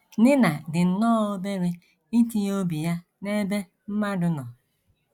Nina dị nnọọ obere itinye obi ya n’ebe mmadụ nọ.